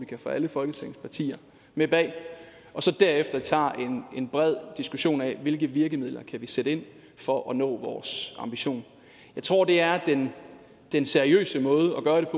kan få alle folketingets partier med bag og så derefter tager en bred diskussion af hvilke virkemidler vi kan sætte ind for at nå vores ambition jeg tror det er den seriøse måde